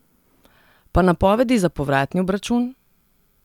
Pa napovedi za povratni obračun?